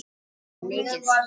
Hver átti landið fyrir?